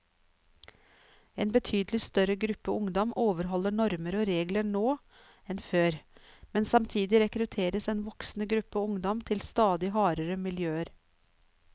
En betydelig større gruppe ungdom overholder normer og regler nå enn før, men samtidig rekrutteres en voksende gruppe ungdom til stadig hardere miljøer.